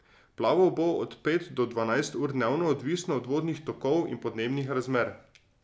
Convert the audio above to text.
Plaval bo od pet do dvanajst ur dnevno, odvisno od vodnih tokov in podnebnih razmer.